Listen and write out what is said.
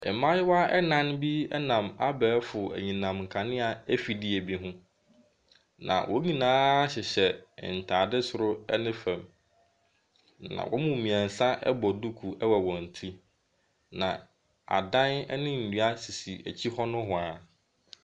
Mmaayewa nnan bi nam abɛɛfo enyinam kanea afidie bi ho. Na wɔn nyinaa hyehyɛ ntaade soro ne fam. Na wɔn mu mmiɛnsa bɔ duku wɔ wɔn ti. Na adan ne nnua sisi akyi hɔ nehoa.